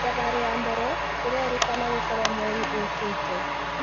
Thabarĩ ya mbere irerĩkana gũkorwo mweri ũkĩte